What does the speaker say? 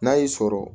N'a y'i sɔrɔ